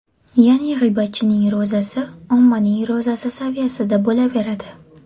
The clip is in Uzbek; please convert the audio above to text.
Ya’ni g‘iybatchining ro‘zasi ommaning ro‘zasi saviyasida bo‘laveradi.